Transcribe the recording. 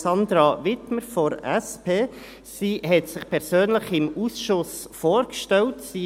Sie stellte sich dem Ausschuss persönlich vor.